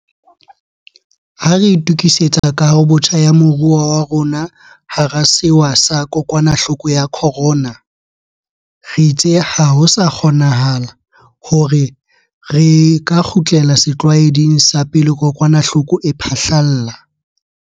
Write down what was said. Ha re itukisetsa kahobotjha ya moruo wa rona hara sewa sa kokwanahloko ya corona, re itse ha ho sa kgonanahale hore re ka kgutlela setlwaeding sa pele kokwanahloko e phahlalla.